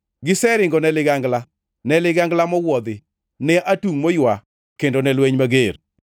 Giseringone ligangla, ne ligangla mowuodhi, ne atungʼ moywa kendo ne lweny mager.